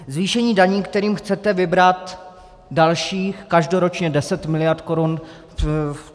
Zvýšení daní, kterým chcete vybrat dalších, každoročně 10 miliard korun.